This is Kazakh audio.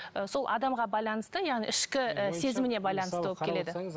ы сол адамға байланысты яғни ішкі і сезіміне байланысты болып келеді